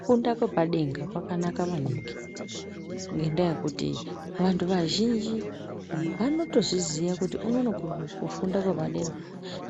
Kufunda kwepadenga kwakanaka maningi, ngendaa yekuti vanhu vazhinji vanotozviziya kuti unono kufunda kwepadera